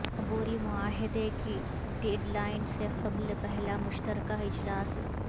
عبوری معاہدے کی ڈیڈ لائن سے قبل پہلا مشترکہ اجلاس